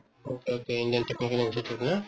okay okay indian technical institute না